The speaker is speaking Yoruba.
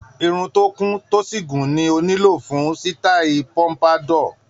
Irun tó kún, tó sì gùn ni ó nílò fún sítáì pompadour.